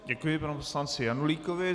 Děkuji panu poslanci Janulíkovi.